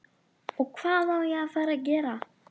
OG HVAÐ Á AÐ FARA AÐ GERA?